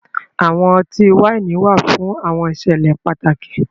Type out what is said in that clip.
Awọn ọ̀tí-waini wà fún awọn ìṣẹ̀lẹ̀ pátàkì